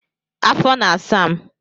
afọ na-asa m.